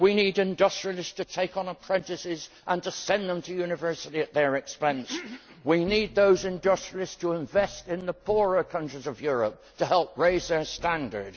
We need industrialists to take on apprentices and send them to university at their expense, and we need those industrialists to invest in the poorer countries of Europe to help raise their standard.